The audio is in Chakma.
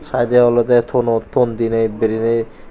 taidey olodey tono ton diney bereney.